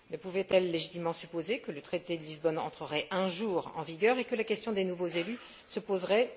Ne pouvait elle légitimement supposer que le traité de Lisbonne entrerait un jour en vigueur et que la question des nouveaux élus se poserait?